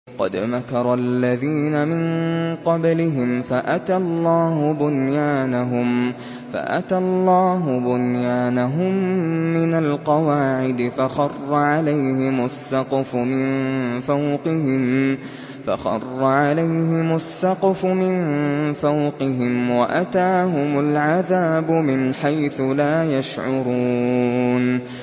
قَدْ مَكَرَ الَّذِينَ مِن قَبْلِهِمْ فَأَتَى اللَّهُ بُنْيَانَهُم مِّنَ الْقَوَاعِدِ فَخَرَّ عَلَيْهِمُ السَّقْفُ مِن فَوْقِهِمْ وَأَتَاهُمُ الْعَذَابُ مِنْ حَيْثُ لَا يَشْعُرُونَ